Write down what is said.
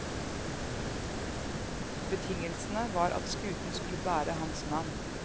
Betingelsene var at skuten skulle bære hans navn.